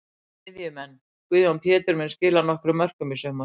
Miðjumenn: Guðjón Pétur mun skila nokkrum mörkum í sumar.